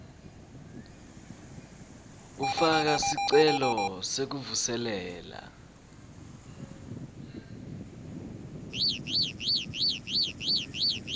kufaka sicelo sekuvuselela